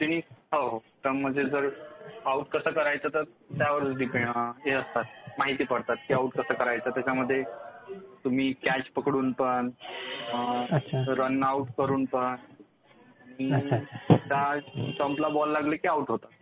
हो स्टंप्स म्हणजे जर आउट कसं करायचं तर त्यावर माहिती पडतात की आऊट कसं करायचं. त्याच्यामध्ये तुम्ही कॅच पकडून पण, रन-आउट करून पण स्टंप्सला बॉल लागला की आउट होता.